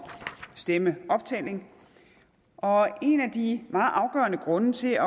stemmeoptælling og en af de meget afgørende grunde til at